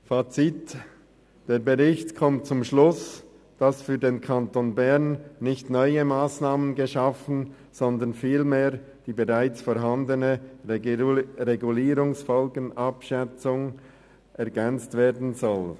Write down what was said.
Fazit: Der Bericht kommt zum Schluss, dass für den Kanton Bern nicht neue Massnahmen geschaffen werden sollen, sondern vielmehr die bereits vorhandene Regulierungsfolgenabschätzung ergänzt werden soll.